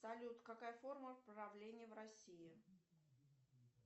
салют какая форма правления в россии